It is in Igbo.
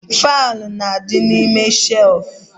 Faịlụ n'adi n'ime shelfu